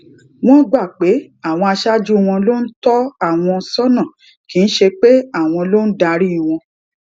wón gbà pé àwọn aṣáájú wọn ló ń tó àwọn sónà kì í ṣe pé àwọn ló ń darí wọn